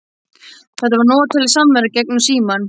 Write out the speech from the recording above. Þetta var notaleg samvera gegnum símann.